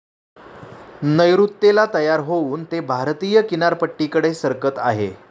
नैऋत्येला तयार होऊन ते भारतीय किनारपट्टीकडे सरकत आहे.